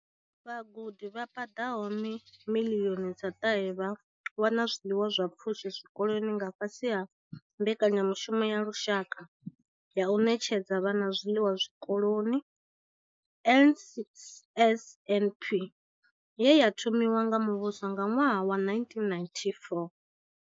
Vhagudi vha paḓaho miḽioni dza ṱahe vha wana zwiḽiwa zwa pfushi zwikoloni nga fhasi ha mbekanyamushumo ya lushaka ya u ṋetshedza vhana zwiḽiwa zwikoloni, NSNP, ye ya thomiwa nga muvhuso nga ṅwaha wa 1994.